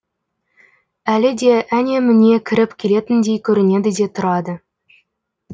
әлі де әне міне кіріп келетіндей көрінеді де тұрады